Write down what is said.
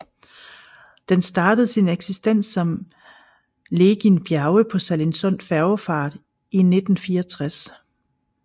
Den startede sin eksistens som Legind Bjerge på Sallingsund Færgefart i 1964